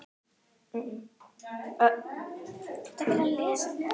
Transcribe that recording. Abraham, hver er dagsetningin í dag?